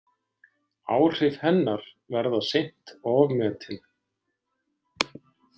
Áhrif hennar verða seint ofmetin.